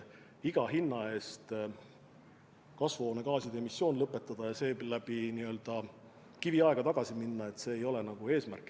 Iga hinna eest kasvuhoonegaaside emissioon lõpetada ja sel moel kiviaega tagasi minna – see ei ole eesmärk.